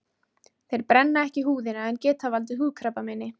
Þeir brenna ekki húðina en geta valdið húðkrabbameini.